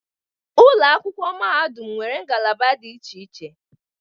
Ụlọ akwụkwọ mahadum nwere ngalaba dị iche iche